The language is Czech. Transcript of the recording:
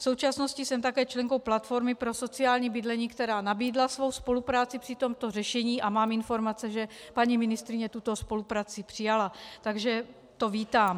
V současnosti jsem také členkou Platformy pro sociální bydlení, která nabídla svou spolupráci při tomto řešení, a mám informace, že paní ministryně tuto spolupráci přijala, takže to vítám.